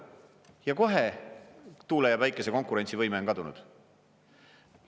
Ja kohe tuule ja päikese konkurentsivõime on kadunud.